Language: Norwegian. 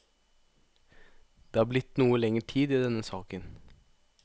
Det har blitt noe lenger tid i denne saken.